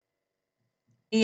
DR1